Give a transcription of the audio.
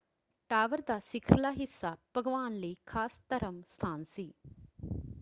Tower ਦਾ ਸਿਖਰਲਾ ਹਿੱਸਾ ਭਗਵਾਨ ਲਈ ਖਾਸ ਧਰਮ ਸਥਾਨ ਸੀ।